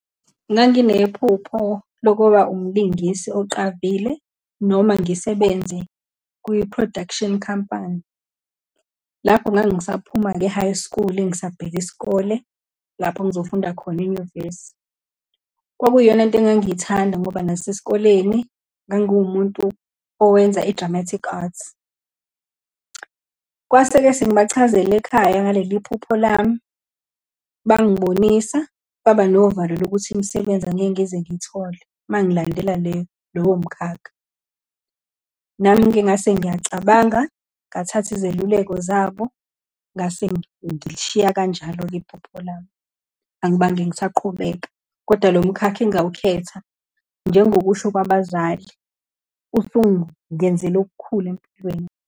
Nganginephupho lokuba umlungisi oqavile, noma ngisebenze kwi-production company. Lapho ngangisaphuma-ke e-high school, ngisabheka isikole lapho engizofunda khona enyuvesi. Kwakwiyona into engangiyithanda ngoba nasesikoleni ngangiwumuntu owenza i-dramatic arts. Kwase-ke sengibachazela ekhaya ngaleliphupho lami, bangibonisa, baba novalo lokuthi imisebenzi angeke ngize ngiyithole uma ngilandela le lowo mkhakha. Nami-ke ngase ngiyacabanga, ngathatha izeluleko zabo, ngase ngishiya kanjalo-ke iphupho lami, angibange ngisaqhubeka. Kodwa lo mkhakha engawukhetha, njengokusho kwabazali osungenzele okukhulu empilweni.